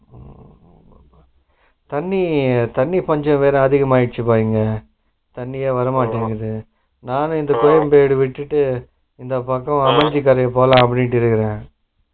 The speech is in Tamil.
ஊம் தண்ணி தண்ணி பஞ்சம்வேற அதிகம் ஆகிடுச்சுப்பா இங்க, தண்ணியே வரமாடிங்குது நானும் இந்த விட்டுட்டு இந்த பக்கம் அம்ஜிக்கரை போலா அப்படின்டு இருக்குறே